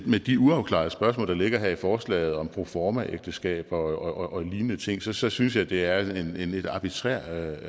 med de uafklarede spørgsmål der ligger her i forslaget om proformaægteskaber og lignende ting så så synes jeg det er en lidt arbitrær